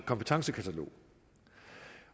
kompetencekatalog